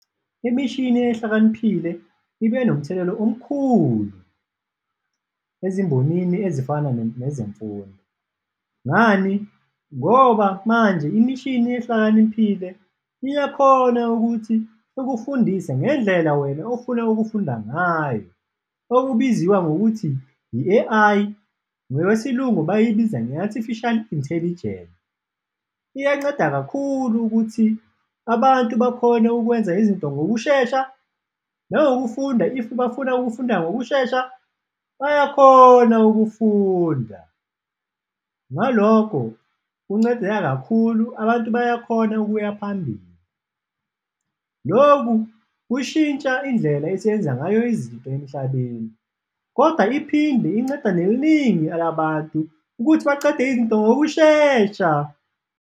Imishini ehlakaniphile ibe nomthelela omkhulu ezimbonini ezifana nezemfundo, ngani? Ngoba manje imishini ehlakaniphile iyakhona ukuthi ikufundise ngendlela wena ofuna ukufunda ngayo, okubiziwa ngokuthi i-A_I, ngokwesilungu bayibiza nge-artificial intelligence. Iyanceda kakhulu ukuthi abantu bakhone ukwenza izinto ngokushesha nangokufunda, if bafuna ukufunda ngokushesha bayakhona ukufunda, ngalokho kuncedeka kakhulu, abantu bayakhona ukuya phambili. Loku kushintsha indlela esiyenza ngayo izinto emhlabeni kodwa iphinde inceda neliningi labantu ukuthi bacede izinto ngokushesha.